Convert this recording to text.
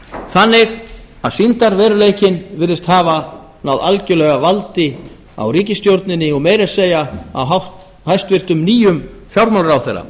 þannig að sýndarveruleikinn virðist hafa náð algerlega valdi á ríkisstjórninni og meira að segja á hæstvirtan nýjum fjármálaráðherra